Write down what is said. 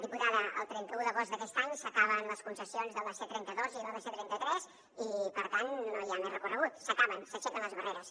diputada el trenta un d’agost d’aquest any s’acaben les concessions de la c trenta dos i de la c trenta tres i per tant no hi ha més recorregut s’acaben s’aixequen les barreres